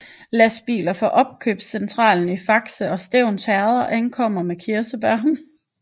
Lastbiler fra opkøbscentralerne i Fakse og Stevns Herreder ankommer med kirsebær